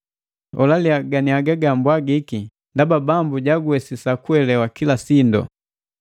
Holaliya ganiaga gambwagiki, ndaba Bambu jaguwesisa guelelawa kila sindu.